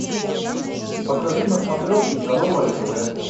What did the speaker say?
покажи на смотрешке здоровое тв